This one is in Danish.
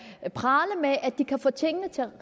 prale med at de kan få tingene til